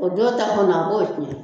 O don ta kɔni, a b'o tiɲɛ.